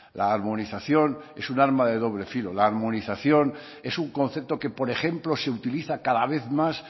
la armonización es un arma de doble filo la armonización es un concepto que por ejemplo se utiliza cada vez más